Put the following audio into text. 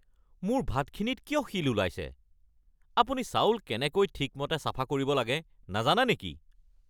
মোৰ ভাতখিনিত কিয় শিল ওলাইছে? আপুনি চাউল কেনেকৈ ঠিকমতে চাফা কৰিব লাগে নাজানে নেকি?